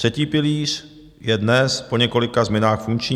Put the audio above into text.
Třetí pilíř je dnes po několika změnách funkční.